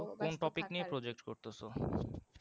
কোন topic নিয়ে project করতেছো?